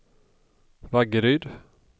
Vaggeryd